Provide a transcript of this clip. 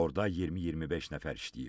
Orada 20-25 nəfər işləyib.